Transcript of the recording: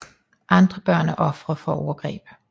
Andre børn er ofre for overgreb